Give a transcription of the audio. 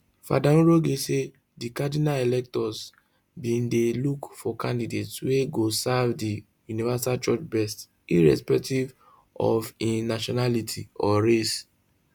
fr njoroge say di cardinal electors bin dey look for candidate wey go serve di universal church best irrespective of im nationality or race